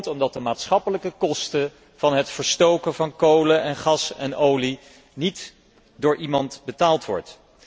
Omdat de maatschappelijke kosten van het verstoken van kolen en gas en olie niet door iemand betaald worden.